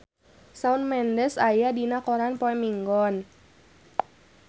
Shawn Mendes aya dina koran poe Minggon